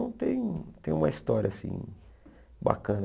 Então, tem um tem uma história assim bacana.